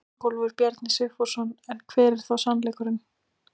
Ingólfur Bjarni Sigfússon: En hver er þá sannleikurinn?